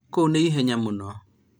kũu nĩ ihenya mũno